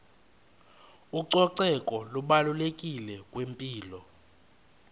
ucoceko lubalulekile kwimpilo